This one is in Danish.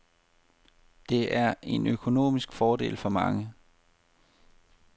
Det er en økonomisk fordel for mange.